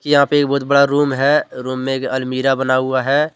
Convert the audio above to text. यहां पे एक बहुत बड़ा रूम है रूम में एक अलमीरा बना हुआ है।